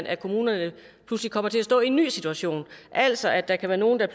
at kommunerne pludselig kommer til at stå i en ny situation altså at der kan være nogle der